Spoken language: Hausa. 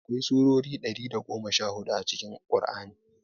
Akwai surori ɗari da goma sha hudu a cikin ƙur'ani